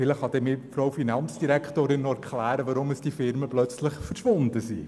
Vielleicht kann mir dann die Finanzdirektorin noch erklären, weshalb die Firmen plötzlich verschwunden sind.